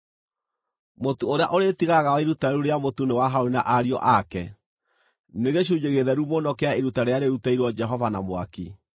Mũtu ũrĩa ũrĩtigaraga wa iruta rĩu rĩa mũtu nĩ wa Harũni na ariũ ake; nĩ gĩcunjĩ gĩtheru mũno kĩa iruta rĩrĩa rĩrutĩirwo Jehova na mwaki.